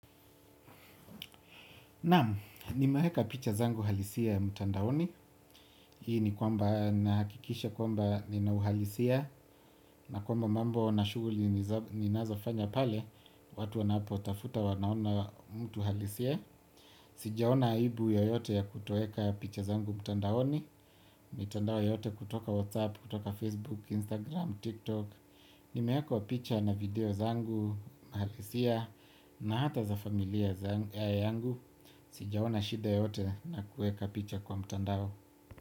Naam, nimeweka picha zangu halisi ya mtandaoni. Hii ni kwamba ninahakikisha kwamba ninauhalisia. Na kwamba mambo na shughuli ninazofanya pale. Watu wanapotafuta wanaona mtu halisia. Sijaona aibu yoyote ya kutoeka picha zangu mtandaoni. Mitandao yote kutoka Whatsapp, kutoka Facebook, Instagram, TikTok. Nimeweka picha na video zangu halisia na hata za familia yangu. Sijaona shida yoyote na kueka picha kwa mtandao.